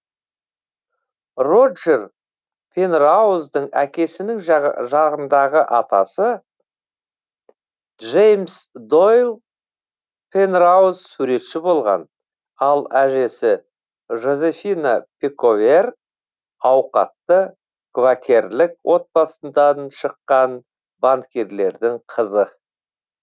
роджер пенрауздың әкесінің жағындағы атасы джеймс дойль пенрауз суретші болған ал әжесі жозефина пековер ауқатты квакерлік отбасындан шыққан банкирлердің қызы